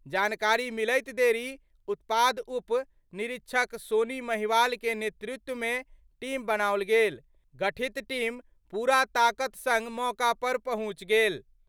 जानकारी मिलैत देरी उत्पाद उप निरीक्षक सोनी महिवाल के नेतृत्व मे टीम बनाओल गेल, गठित टीम पूरा ताकत संग मौका पर पहुंच गेल।